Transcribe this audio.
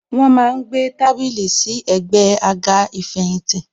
Wọn má ń gbé tábìlì sí ẹ̀gbẹ́ àga ìfẹ̀yìntì.